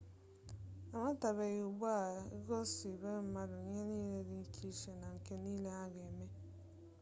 amatabeghi ugbu a ebubo a ga-ebo maọbụ ihe mere ndị isi ji wee nyowe nwata nwoke a mana ebidola usoro ikpe ụmụazị n'ụlọ ikpe gọọmenti